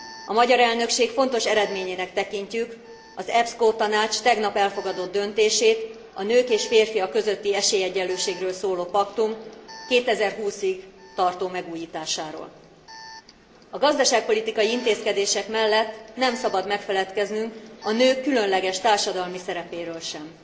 A magyar elnökség fontos eredményének tekintjük az EPSCO tanács tegnap elfogadott döntését, a nők és férfiak közötti esélyegyenlőségről szóló paktum 2020 ig tartó megújításáról. A gazdaságpolitikai intézkedések mellett nem szabad megfeledkeznünk a nők különleges társadalmi szerepéről sem.